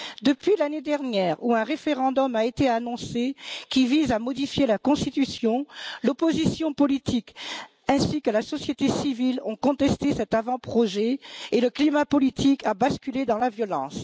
Depuis l'année dernière, lorsqu'un référendum a été annoncé qui visait à modifier la constitution, l'opposition politique ainsi que la société civile ont contesté cet avant projet et le climat politique a basculé dans la violence.